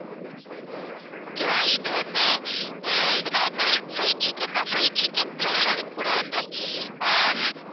okay வா? இது வந்து அஹ் இது normal fried chicken தான் fried chicken plus அதுக்கு கூட வந்து அஹ்